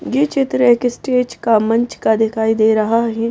ये चित्र एक स्टेज का मंच का दिखाई दे रहा है।